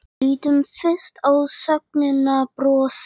Lítum fyrst á sögnina brosa: